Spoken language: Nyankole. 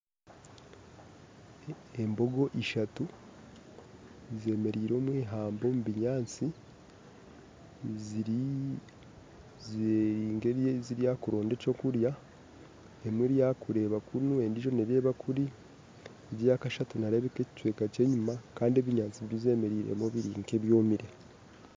Embogo ishatu zemeriire omu ihamba omu binyaatsi, ziri ziri nkeziryakuronda ekyokurya emwe eryakureeba kunu endijo nereeba kuri egi ayakashatu nerebeka ekicweka ky'enyuma kandi kandi ebinyaatsi bizemereiremu biri nka ebyomere